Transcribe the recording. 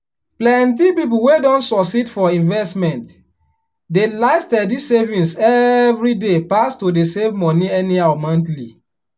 plenty people wey don succeed for investment dey like steady savings every day pass to dey save money anyhow monthly.